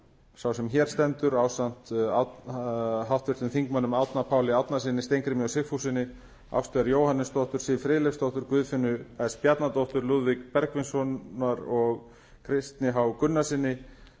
sá sem hér stendur ásamt háttvirtum þingmanni árna páli árnasyni steingrími j sigfússyni ástu r jóhannesdóttur siv friðleifsdóttur guðfinnu s bjarnadóttur lúðvíki bergvinssyni kristni h gunnarssyni